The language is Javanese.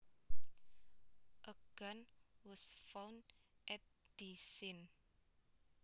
A gun was found at the scene